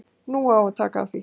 Nú á að taka á því.